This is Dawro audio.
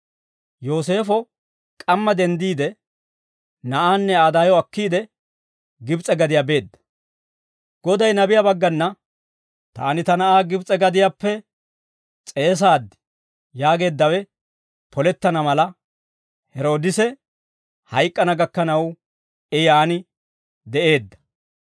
Yooseefo k'amma denddiide, na'aanne Aa daayo akkiide, Gibs'e gadiyaa beedda; Goday nabiyaa baggana, «Taani ta na'aa Gibs'e gadiyaappe s'eesaad» yaageeddawe polettana mala, Heroodise hayk'k'ana gakkanaw I yaan de'eedda.